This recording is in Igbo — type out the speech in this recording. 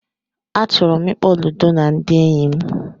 Achọrọ m ịkpọ Ludo na ndị enyi m